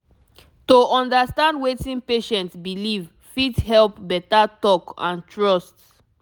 to understand wetin patient believe fit help better talk and trust